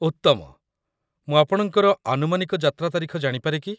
ଉତ୍ତମ! ମୁଁ ଆପଣଙ୍କର ଆନୁମାନିକ ଯାତ୍ରା ତାରିଖ ଜାଣିପାରେ କି?